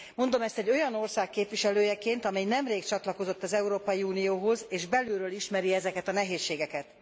Mondom ezt egy olyan ország képviselőjeként, amely nemrég csatlakozott az Európai Unióhoz, és belülről ismeri ezeket a nehézségeket.